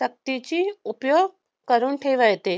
शक्तीची उपयोग करून ठेवाय येते